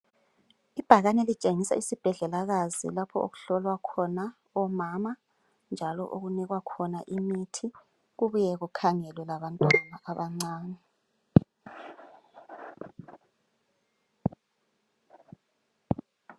Ibhakani elitshengisa isibhedlelekazi lapho okuhlolwa khona omama njalo okubakhona imithi njalo kubuywr kukhangelwe abantwana abancane .